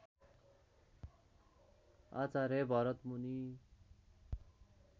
Acharya Bharatmuni